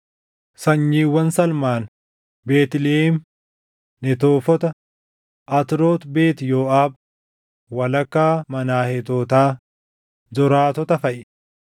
Sanyiiwwan Salmaan: Beetlihem, Netoofota, Atroot Beet Yooʼaab, walakkaa Maanaheetotaa, Zoraatota faʼi;